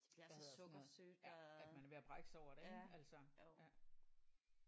Pladder sådan noget ja at man er ved at brække sig over det ik altså ja